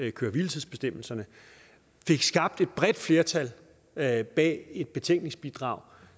af køre hvile tids bestemmelserne fik skabt et bredt flertal bag bag et betænkningsbidrag